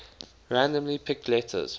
randomly picked letters